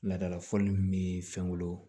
Laadala fɔlɔ min bi fɛnkolo